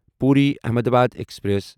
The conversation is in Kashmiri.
پوری احمدآباد ایکسپریس